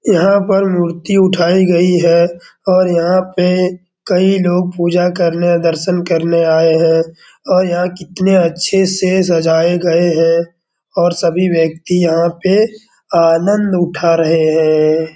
यहाँ पर मूर्ति उठाई गयी है और यहाँ पे कई लोग पूजा करने दर्शन करने आये हैं| और यहाँ कितने अच्छे से सजाये गए हैं और सभी व्यक्ति यहाँ पे आनंद उठा रहे हैं।